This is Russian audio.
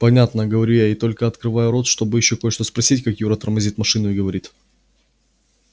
понятно говорю я и только открываю рот чтобы ещё кое-что спросить как юра тормозит машину и говорит